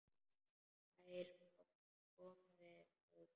Þær komu við sögu.